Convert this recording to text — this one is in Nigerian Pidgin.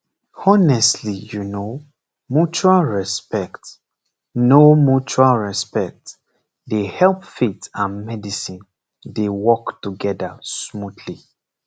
honestly you know mutual respect know mutual respect dey help faith and medicine dey work together smoothly